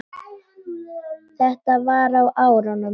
Þetta var á árunum